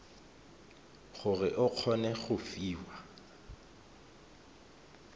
gore o kgone go fiwa